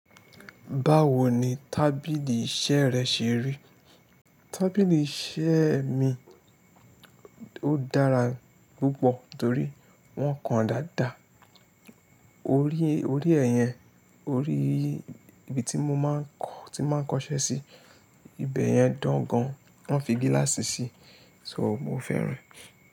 Báwo ni tábìlì iṣẹ́ rẹ ṣe rí? Tábìlì iṣẹ́ mi ó dára púpọ̀ torí wọ́n kan dáadáa. Orí, orí ẹ̀ yẹn, orí ibi tí mo máa ń kọ, tí mo máa ń kọṣẹ́ sí, ibẹ̀ yẹn dán gan. Wọ́n fi gíláàsì sí, so mo fẹ́ rẹ̀